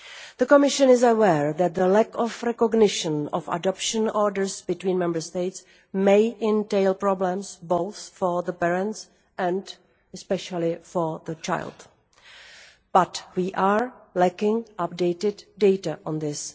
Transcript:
The Commission is aware that the lack of recognition of adoption orders between Member States may entail problems both for the parents and, especially, for the child, but we lack updated data on this.